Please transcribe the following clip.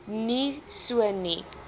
nie so nie